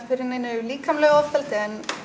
fyrir neinu líkamlegu ofbeldi en